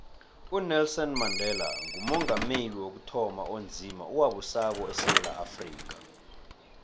unelson mandela ngumongameli wokuthoma onzima owabusako esewula afrika